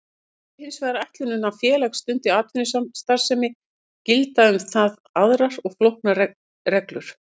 Sé hins vegar ætlunin að félag stundi atvinnustarfsemi gilda um það aðrar og flóknari reglur.